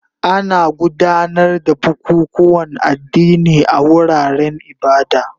Ana gudanar da bukukuwan addini a wuraren ibada